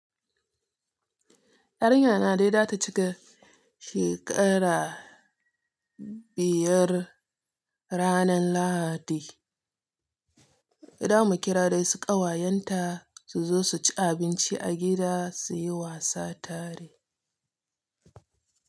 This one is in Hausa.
Yarinya na dai za ta cika shekara biyar ranar Lahadi. Da mu kira dai su ƙawayen ta su zo su ci abinci a gida su yi wasa tare.